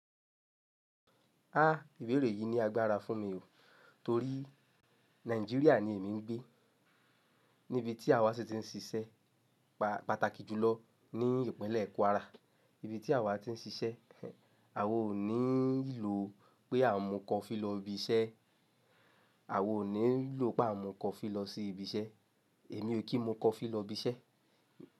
Á, ìbéèrè yìí ni agbára fún mi o. Torí Nàìjíríà ni èmi ń gbé. Níbi tí àwa ṣe ti ń ṣiṣẹ́ pa- pàtàkì jùlọ ní ìpínlẹ̀ Kwara. Ibi tí àwa ti ń ṣiṣẹ́, àwo níí ilò pé à mu kọ́fi lọ ibi iṣẹ́. Àwa oo níí lò pé à mu coffee lọ sí ibi iṣẹ́. Èmi o kí n mọ coffee lọ ibi iṣẹ́.